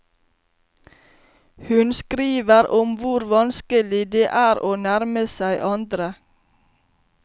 Hun skriver om hvor vanskelig det er å nærme seg andre.